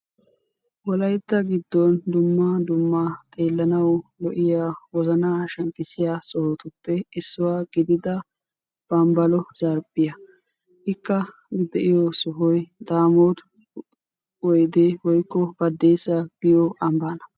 wolaytta gidoni dumma dumma xeelanaw injetiya wozana shempisiya sohuwappe issuwa gidida bambala zarphe ikka de"iyo sohoy damotta woyde woykko baddessa giyo ambbana.